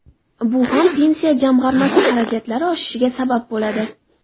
Bu ham Pensiya jamg‘armasi xarajatlari oshishiga sabab bo‘ladi.